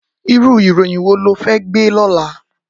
Irú iróyìn wó ló fè gbé lòlá?